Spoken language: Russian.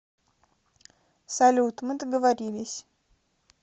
салют мы договорились